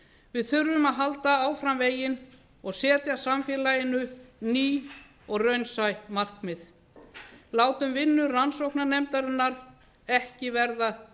við þurfum að halda áfram veginn og setja samfélaginu ný og raunsæ markmið látum vinnu rannsóknarnefndarinnar ekki verða